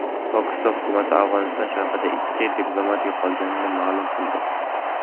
Pokiston hukumati Afg‘oniston sharqida ikki diplomat yo‘qolganini ma’lum qildi.